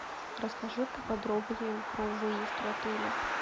расскажи поподробнее про выезд в отеле